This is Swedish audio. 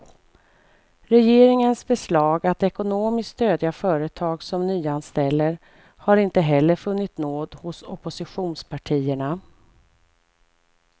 Regeringens förslag att ekonomiskt stödja företag som nyanställer har inte heller funnit nåd hos oppositionspartierna.